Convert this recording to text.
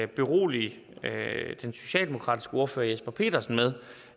berolige den socialdemokratiske ordfører herre jesper petersen med